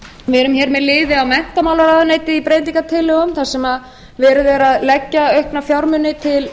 menntamálaráðuneytið í breytingartillögum þar sem verið er að leggja aukna fjármuni til